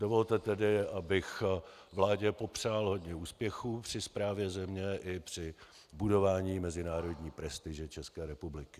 Dovolte tedy, abych vládě popřál hodně úspěchů při správě země i při budování mezinárodní prestiže České republiky.